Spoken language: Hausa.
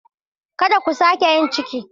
Kada ku sake yin ciki.